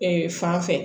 Ee fan fɛ